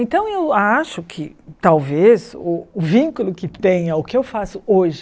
Então eu acho que talvez o vínculo que tenha o que eu faço hoje